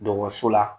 Dɔgɔtɔrɔso la